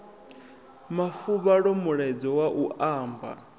mafuvhalo mulaedza wa u amba